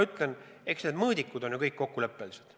Ja eks need mõõdikud on ju kõik kokkuleppelised.